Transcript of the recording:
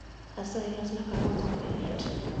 Asayi losna kahawa maonge mit